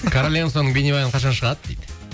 королевамсыңның бейнебаяны қашан шығады дейді